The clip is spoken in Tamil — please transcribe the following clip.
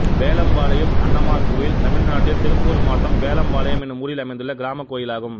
வேலம்பாளையம் அண்ணமார் கோயில் தமிழ்நாட்டில் திருப்பூர் மாவட்டம் வேலம்பாளையம் என்னும் ஊரில் அமைந்துள்ள கிராமக் கோயிலாகும்